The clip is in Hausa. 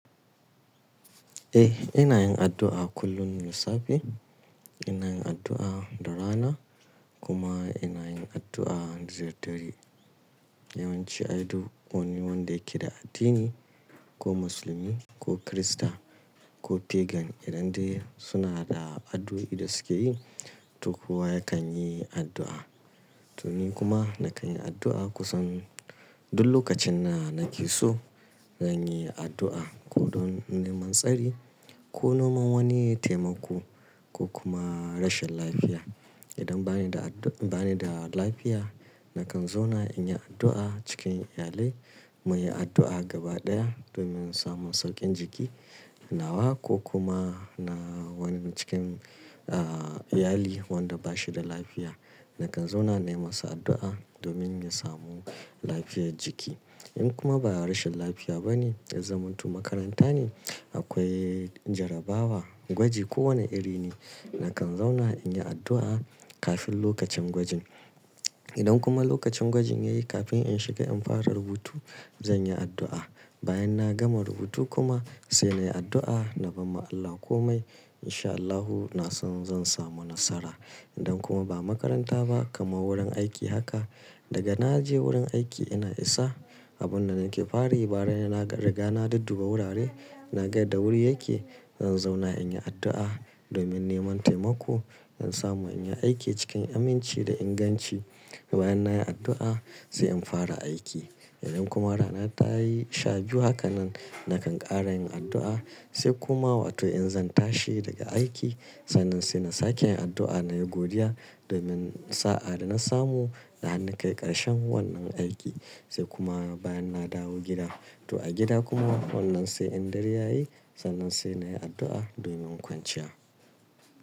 Eh, ina yin addu'a kullum da safe, ina yin addu'a da rana kuma ina yin addu'a da dare. Yawanci ai duk wani wanda yake da addini ko musulmi ko kirista ko pagan idan dai suna da addu'o'i da suke yi to kowa yakan yi addu'a. To ni kuma na kan yi addu'a kusan duk lokacin da nake so zan yi addu'a ko don neman tsari ko noman wani taimako ko kuma rashin lafiya. Idan bani da addu- bani da lafiya na kan zauna in yi addu'a cikin iyali mu yi addu'a gaba ɗaya domin samun sauƙin jiki nawa ko kuma na wani cikin, ah, iyali wanda bashi da lafiya na kan zauna na yi masa addu'a domin ya samu lafiyar jiki. In kuma ba rashin lafiya bane, ya zamantu makaranta ne akwai jarabawa, gwaji ko wane iri ne na kan zauna in yi addu'a kafin lokacin gwajin. Idan kuma lokacin gwajin yayi kafin in shiga in fara rubutu zan yi addu'a. Bayan na gama rubutu kuma sai na yi addu'a na ba ma Allah komai in sha Allahu na san zan samu nasara. Idan kuma ba makaranta ba kamar wurin aiki haka daga naje wurin aiki ina isa abun da nake fari bara na riga na duduba wurare naga da wuri yake zan zauna in yi addu'a domin neman taimako in samu in yi aiki cikin aminci da inganci. Bayan nayi addu'a sai in fara aiki. Idan kuma rana tayi shabiyu haka nan na kan ƙara yin addu'a sai kuma watai in zan tashi daga aiki sannan sai na sake yin addu'a nayi godiya domin sa'a da na samu zahiri kai karshen wannan aiki sai kuma bayan na dawo gida. To a gida kuma wannan sai in dari yayi sannan sai nayi addu'a domin kwanciya.